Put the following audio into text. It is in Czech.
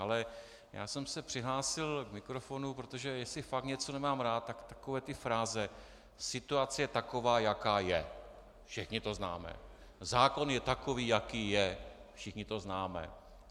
Ale já jsem se přihlásil k mikrofonu, protože jestli fakt něco nemám rád, tak takové ty fráze "situace je taková, jaká je, všichni to známe", "zákon je takový, jaký je, všichni to známe".